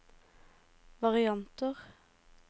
varianter